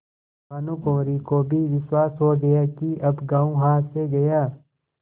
भानुकुँवरि को भी विश्वास हो गया कि अब गॉँव हाथ से गया